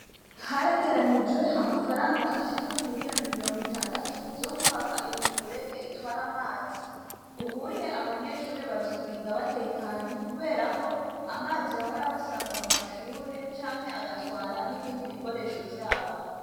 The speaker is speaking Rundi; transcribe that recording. Haregeranijwe amafaranga ashika ku miriyoni mirongo itandatu zo kubaka imifurege itwara amazi, ubuye abanyeshure bazokwiga batekanye kubera ko amazi yahora abasanga mu mashure, canke agatwara n'ibindi bikoresho vyabo.